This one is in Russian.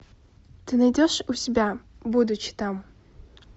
ты найдешь у себя будучи там